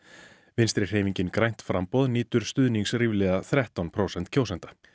vinstri hreyfingin grænt framboð nýtur stuðnings ríflega þrettán prósent kjósenda